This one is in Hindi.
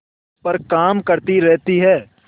पर काम करती रहती है